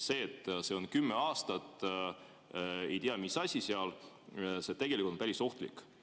See, et meil on kümme aastat ei tea, mis asi, on tegelikult päris ohtlik.